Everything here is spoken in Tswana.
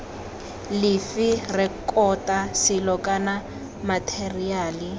lefe rekota selo kana matheriale